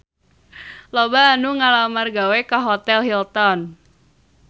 Loba anu ngalamar gawe ka Hotel Hilton